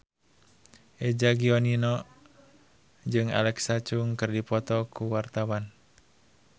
Eza Gionino jeung Alexa Chung keur dipoto ku wartawan